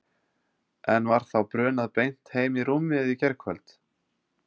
En var þá brunað beint heim í rúmið í gærkvöld?